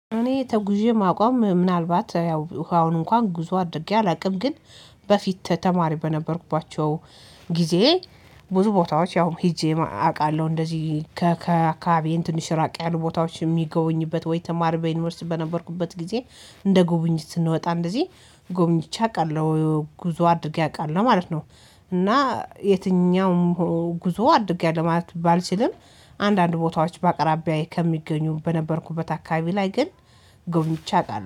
እኔ ተጉዤ የማውቀው ምናልባት ያው አሁን እንኳን ጉዞ አድርጌ አላውቅም ግን በፊት ተማሪ በነበርኩባቸው ጊዜ ብዙ ቦታዎች ያው ሄጄ አውቃለሁ እንደዚህ ከአካባቢዬ ትንሽ ራቅ ያሉ ቦታዎች የሚገቡኝበት ወይ ተማሪ በዩኒቨርሲቲ በነበርኩበት ጊዜ እንደ ጉብኝት ስንወጣ እንደዚህ ጉብኝቼ አውቃለሁ ጉዞ አድርጌ አውቃለሁ ማለት ነው። እና የትኛውም ጉዞ አድርጌያለሁ ለማለት ቢባል ሲልም አንዳንድ ቦታዎች በአቅራቢያዬ ከሚገኙ በነበርኩበት አካባቢ ላይ ግን ጎብኝቼ አውቃለሁ